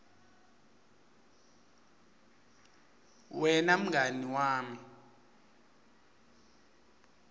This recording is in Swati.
wena mngani wami